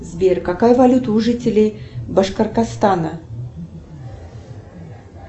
сбер какая валюта у жителей башкортостана